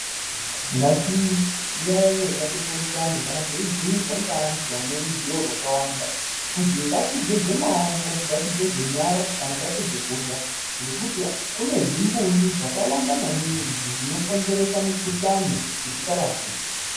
Ngatiyayeye ,ngatipurutane kana teibhuyirwa ngevantu vane ruziwo rwakawanda kuzi ngatigeze maoko ,ngatigeze nyara kana tapedza kurya ngekuti kune zvimbuyu zvakawanda zvinokonzera mikhuhlani isikarapiki.